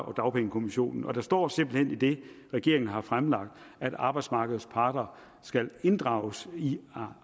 og dagpengekommissionen og der står simpelt hen i det regeringen har fremlagt at arbejdsmarkedets parter skal inddrages i